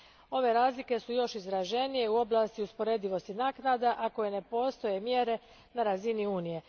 Ove razlike su još izraženije u oblasti usporedivosti naknada za koje ne postoje mjere na razini Unije.